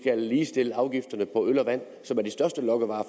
ligestille afgifterne på øl og vand som er de største lokkevarer